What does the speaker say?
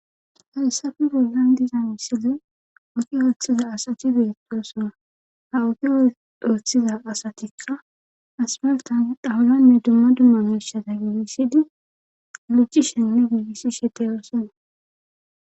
haysan bollan diza misile oki ooththiza asati beettosona ha oki ooththiza asatikka asmaltan dhawuyanne dumma dummaneshaza gigisidi lujji shenne wugisi shete oosana